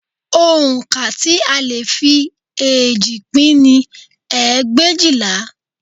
Oǹkà tí a lè fi eéjì pín ni ẹgbẹ̀éjìlá